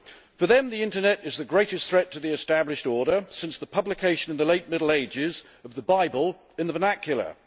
For them the internet is the greatest threat to the established order since the publication in the late Middle Ages of the Bible in the vernacular.